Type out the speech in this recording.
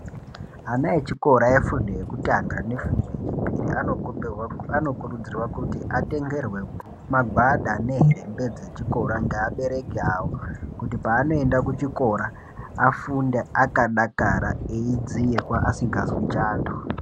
Ana echikora efundo yekutanga nefundo yechipiri anokurudzirwa kuti atengerwe magwada nehembe dzechikora ngeabereki awo kuti paanoenda kuchikora afunde akadakara eyidziirwa asingazwi chando.